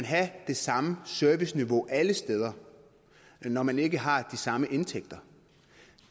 have det samme serviceniveau alle steder når man ikke har de samme indtægter